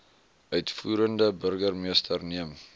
uitvoerende burgermeester neem